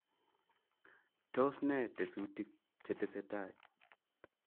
tos ne tesutiik chetesetai ?